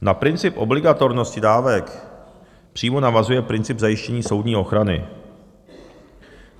Na princip obligatornosti dávek přímo navazuje princip zajištění soudní ochrany.